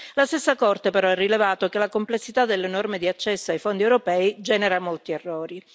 La stessa Corte però ha rilevato che la complessità delle norme di accesso ai fondi europei genera molti errori.